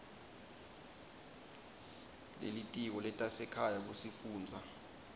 lelitiko letasekhaya kusifundza